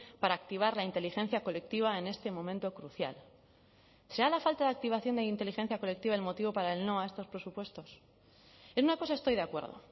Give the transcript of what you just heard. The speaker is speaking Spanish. para activar la inteligencia colectiva en este momento crucial será la falta de activación de inteligencia colectiva el motivo para el no a estos presupuestos en una cosa estoy de acuerdo